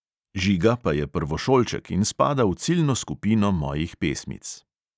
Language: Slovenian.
Žiga pa je prvošolček in spada v ciljno skupino mojih pesmic.